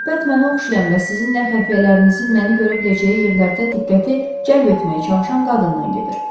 Söhbət mənə oxşayan və sizin xəfiyyələrinizin məni görə biləcəyi yerlərdə diqqəti cəlb etməyə çalışan qadından gedir.